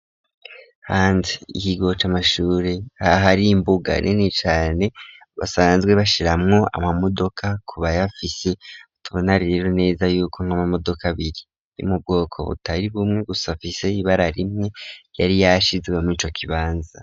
Hanze y'ikigo c'amashuri aha hari imbuga nini cane basanzwe bashiramwo ama modoka ku bayabafise tubona rero neza yuko nk'amamodoka abiri yo mu bwoko butari bumwe gusa afise ibara rimwe yari yashizwe murico kibanza.